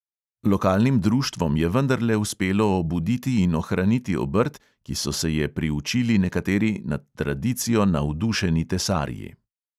Lokalnim društvom je vendarle uspelo obuditi in ohraniti obrt, ki so se je priučili nekateri nad tradicijo navdušeni tesarji.